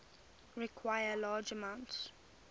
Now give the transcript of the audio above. require large amounts